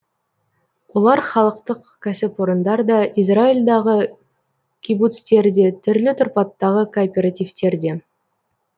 олар халықтық кәсіпорындар да израильдағы кибуцтер де түрлі тұрпаттағы кооперативтер де